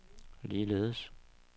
ligeledes